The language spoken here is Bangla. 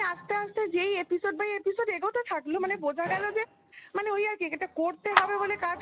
আপাতত থাকলো মানে বোঝা গেল যে মানে ওই আর কি এটা করতে হবে বলে কাজ